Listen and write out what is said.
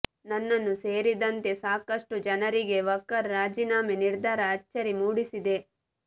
ನನ್ನನ್ನು ಸೇರಿದಂತೆ ಸಾಕಷ್ಟು ಜನರಿಗೆ ವಕಾರ್ ರಾಜೀನಾಮೆ ನಿರ್ಧಾರ ಅಚ್ಚರಿ ಮೂಡಿಸಿದೆ